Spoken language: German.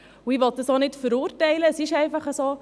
Ich will dies auch nicht verurteilen, es ist einfach so.